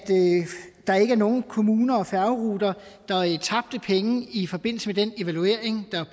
der ikke er nogen kommuner og færgeruter der tabte penge i forbindelse med den evaluering der